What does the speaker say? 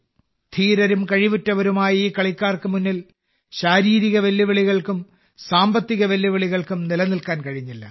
ധീരരും കഴിവുറ്റവരുമായ ഈ കളിക്കാർക്ക് മുന്നിൽ ശാരീരിക വെല്ലുവിളികൾക്കും സാമ്പത്തിക വെല്ലുവിളികൾക്കും നിലനിൽക്കാൻ കഴിഞ്ഞില്ല